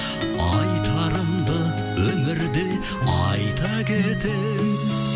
айтарымды өмірде айта кетемін